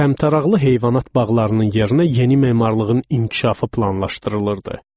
Təmtəraqlı heyvanat bağlarının yerinə yeni memarlığın inkişafı planlaşdırılırdı.